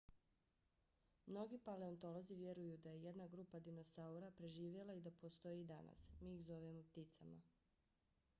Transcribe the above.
mnogi paleontolozi vjeruju da je jedna grupa dinosaura preživjela i da postoji i danas. mi ih zovemo pticama